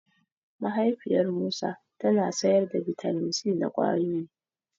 Mahaifiyar Musa tana sayar da bitamin C na ƙwayoyi.